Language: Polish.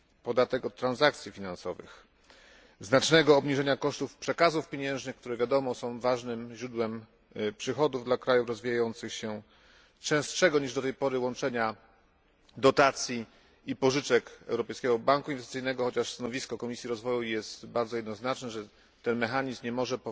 podatek od transakcji finansowych znacznego obniżenia kosztów przekazów pieniężnych, które jak wiadomo są ważnym źródłem przychodów dla krajów rozwijających się, częstszego niż do tej pory łączenia dotacji i pożyczek Europejskiego Banku Inwestycyjnego, chociaż stanowisko Komisji Rozwoju jest bardzo jednoznaczne, że ten mechanizm nie może